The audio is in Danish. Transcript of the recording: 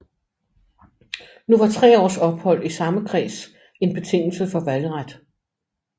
Nu var tre års ophold i samme kreds en betingelse for valgret